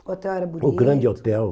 O hotel era bonito. O grande hotel.